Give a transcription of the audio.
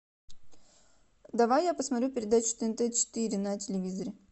давай я посмотрю передачу тнт четыре на телевизоре